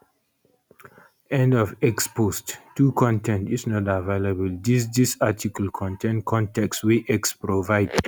end of x post 2 con ten t is not available dis dis article contain con ten t wey x provide